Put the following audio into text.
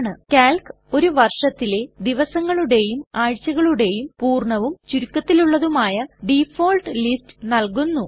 Calc ഒരു വർഷത്തിലെ ദിവസങ്ങളുടേയും ആഴ്ചകളുടേയും പൂർണ്ണവും ചുരുക്കത്തിലുള്ളതുമായ ഡിഫാൾട്ട് ലിസ്റ്റ്സ് നൽകുന്നു